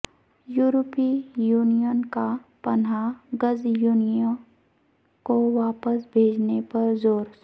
یورپی یونین کا پناہ گزینوں کو واپس بھیجنے پر زور